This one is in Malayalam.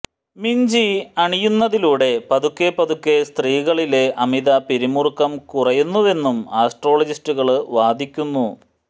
മിഞ്ചി അണിയുന്നതിലൂടെ പതുക്കെ പതുക്കെ സ്ത്രീകളിലെ അമിത പിരിമുറുക്കം കുറയുന്നുവെന്നും ആസ്ട്രോളജിസ്റ്റുകള് വാദിക്കുന്നു